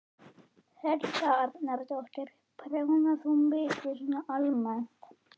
Helga Arnardóttir: Prjónar þú mikið svona almennt?